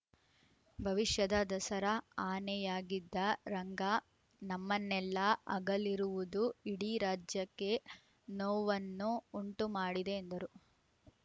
ಭವಿಷ್ಯದ ದಸರಾ ಅನೆಯಾಗಿದ್ದ ರಂಗ ನಮ್ಮನ್ನೆಲ್ಲ ಅಗಲಿರುವುದು ಇಡೀ ರಾಜ್ಯಕ್ಕೆ ನೋವನ್ನು ಉಂಟು ಮಾಡಿದೆ ಎಂದರು